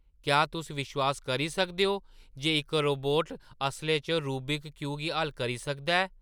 क्या तुस विश्वास करी सकदे ओ जे इक रोबोट असलै च रूबिक क्यूब गी हल करी सकदा ऐ?